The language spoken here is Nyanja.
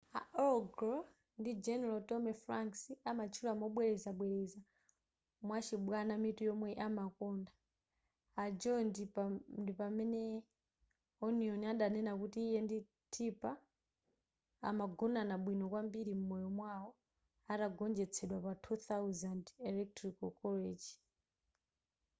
al gore ndi general tommy franks amatchula mobwerezabwereza mwachibwana mitu yomwe amakonda a gore ndi pamene onion adanena kuti iye ndi tipper amagonana bwino kwambiri m'moyo mwawo atagonjetsedwa pa 2000 electoral college